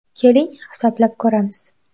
Keling, hisoblab ko‘ramiz.